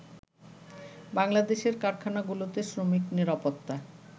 বাংলাদেশের কারখানাগুলোতে শ্রমিক নিরাপত্তা